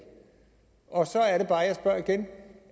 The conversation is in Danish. og så er det bare jeg spørger igen